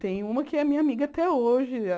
Tem uma que é minha amiga até hoje.